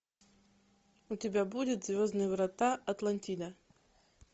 у тебя будет звездные врата атлантида